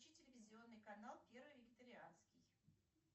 включи телевизионный канал первый вегетарианский